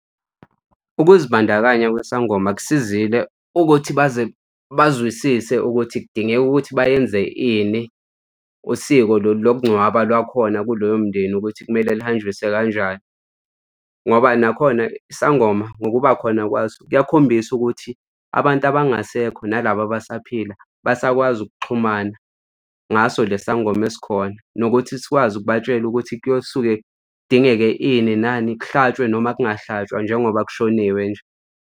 Ukuzibandakanya kwesangoma kusizile ukuthi baze bazwisise ukuthi kudingeka ukuthi bayenze ini, usiko lolu lokungcwaba lwakhona kulowo mndeni ukuthi kumele lihanjiswe kanjani. Ngoba nakhona isangoma ngokuba khona kwaso kuyakhombisa ukuthi abantu abangasekho nalaba abasaphila basakwazi ukuxhumana ngaso le sangoma esikhona, nokuthi sikwazi ukubatshela ukuthi kuyosuke kudingeke ini nani kuhlatshwe noma kungahlatshwa njengoba kushoniwe nje.